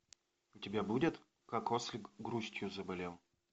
у тебя будет как ослик грустью заболел